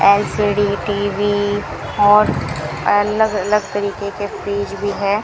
LCD TV और अलग अलग तरीके के फ्रिज भी है।